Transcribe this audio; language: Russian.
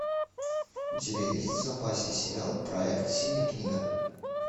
у тебя есть в запасе сериал проект синяя книга